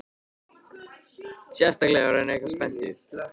Sérstaklega ef hann er eitthvað spenntur.